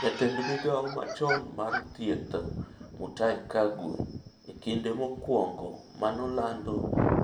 Jatend migawo machon mar thieth Mutahi Kagwe e kinde mokwongo manolando